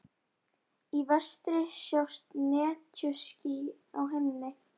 Í vestri sjást netjuský á himni.